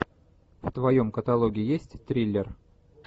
в твоем каталоге есть триллер